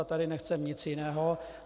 A tady nechceme nic jiného.